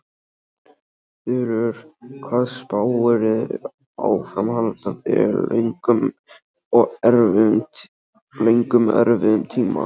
Þulur: Hvað spáirðu áframhaldandi löngum erfiðum tíma?